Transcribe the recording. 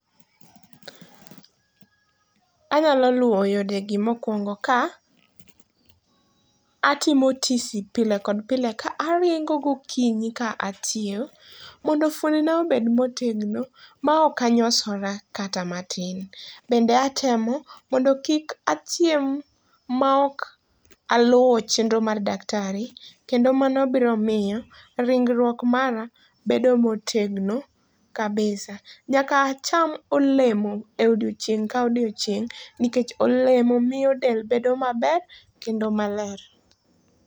Anyalo luwo yodegi mokwongo ka atimo tisi pile kod pile ka aringo gokinyi ka atiyo mondo fuoni na obed motegno maok anyosora kata matin. Bende atemo mondo kik achiem maok aluwo chendro mar daktari. Kendo mano biromiyo ringruok mara bedo motegno kabisa. Nyaka acham olemo e odiochieng' ka odieochieng', nikech olemo miyo del bedo maber kendo maler.